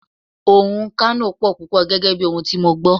Oòrùn Kano pò púpò gẹ́gẹ́ bí ohun tí mo gbó.